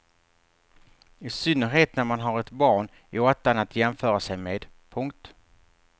I synnerhet när man har ett barn i åttan att jämföra sig med. punkt